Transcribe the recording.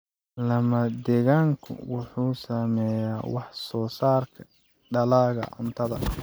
Lama-degaanku wuxuu saameeyaa wax soo saarka dalagga cuntada.